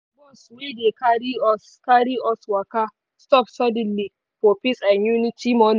bus wey dey carry us carry us waka stop suddenly for peace and unity monu